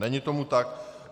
Není tomu tak.